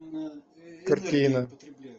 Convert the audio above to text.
картина